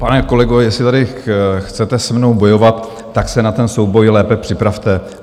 Pane kolego, jestli tady chcete se mnou bojovat, tak se na ten souboj lépe připravte.